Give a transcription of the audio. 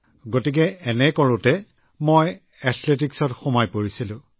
এইদৰে কৰি কৰি থাকোঁতে মই এথলেটিকছৰ ক্ষেত্ৰখনত সোমাই পৰিলোঁ